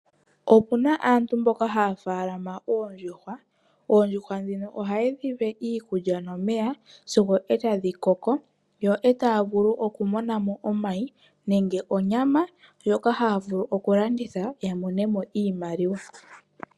Opuna aantu mboka ha ya faalama oondjuhwa. Oondjuhwa dhino ohaye dhi pe iikulya nomeya sigo ee tadhi koko, yo ee taa vulu okumona mo omayi nenge onyama ndjoka ha ya vulu okulanditha ya mone mo iimaliwa.